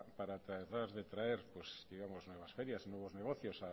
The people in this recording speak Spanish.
para tratar de traer nuevas ferias nuevos negocios